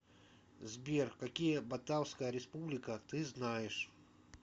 сбер какие батавская республика ты знаешь